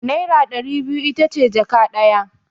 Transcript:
Naira ɗari biyu ita ce jaka ɗaya.